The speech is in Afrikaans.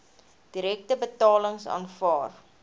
direkte betalings aanvaar